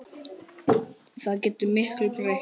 Það getur miklu breytt.